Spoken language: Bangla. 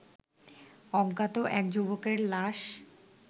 অজ্ঞাত এক যুবকের লাশ